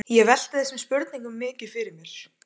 Ég velti þessum spurningum mikið fyrir mér.